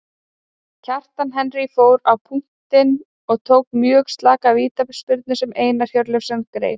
Kjartan Henry fór á punktinn og tók mjög slaka vítaspyrnu sem Einar Hjörleifsson greip.